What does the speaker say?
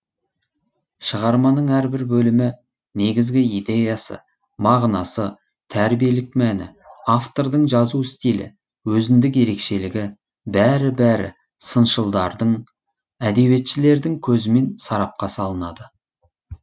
шығарманың әрбір бөлімі негізгі идеясы мағынасы тәрбиелік мәні автордың жазу стилі өзіндік ерекшелігі бәрі бәрі сыншылдардың әдебиетшілердің көзімен сарапқа салынады